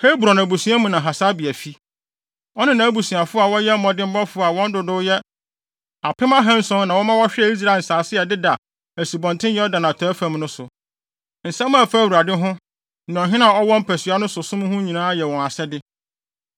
Hebron abusua mu na Hasabia fi. Ɔne nʼabusuafo a wɔyɛ mmɔdemmɔfo a wɔn dodow yɛ apem ahanson na wɔma wɔhwɛɛ Israel nsase a ɛdeda Asubɔnten Yordan atɔe fam no so. Nsɛm a ɛfa Awurade ho, ne ɔhene a ɔwɔ mpasua no so som ho nyinaa yɛ wɔn asɛde.